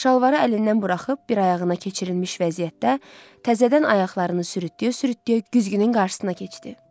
Şalvarı əlindən buraxıb bir ayağına keçirilmiş vəziyyətdə təzədən ayaqlarını sürütləyə-sürütləyə güzgünün qarşısına keçdi.